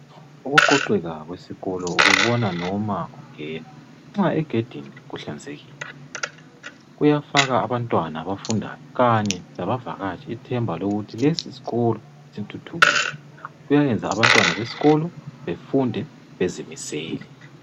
Ukuqoqeka kwesikolo ukubona noma ungena , nxa egedini kuhlanzekile kuyafaka abantwana abafundayo kanye labavakatshi ithemba lokuthi lesisikolo sithuthukile , kuyayenza abantwana besikolo befunde bezimisele